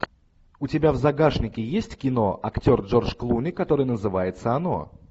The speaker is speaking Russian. у тебя в загашнике есть кино актер джордж клуни которое называется оно